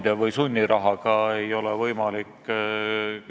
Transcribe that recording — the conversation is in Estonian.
Samas on mul ääretult kahju, et ei olda valmis eelnõuga edasi minema, et seda paremaks teha.